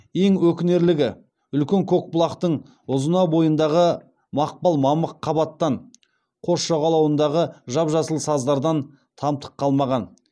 ең өкінерлігі үлкен көкбұлақтың ұзына бойындағы мақпал мамық қабаттан қос жағалауындағы жап жасыл саздардан тамтық қалмаған